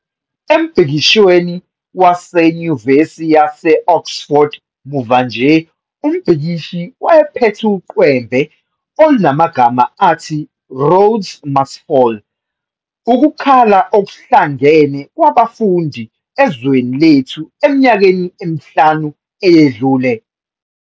Embhikishweni waseNyuvesi yase-Oxford muva nje umbhikishi wayephethe uqwembe olunamagama athi 'Rhodes must Fall", ukukhala okuhlangene kwabafundi ezweni lethu eminyakeni emihlanu eyedlule.